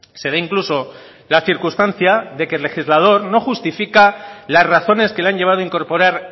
se da incluso la circunstancia de que el legislador no justifica las razones que le han llevado incorporar